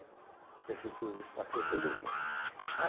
A Prefeitura despachou todo mundo.